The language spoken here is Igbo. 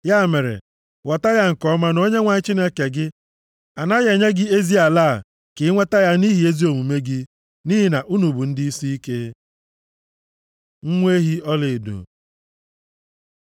Ya mere, ghọta ya nke ọma na Onyenwe anyị Chineke gị anaghị enye gị ezi ala a ka inweta ya nʼihi ezi omume gị, nʼihi na unu bụ ndị isiike. Nwa ehi ọlaedo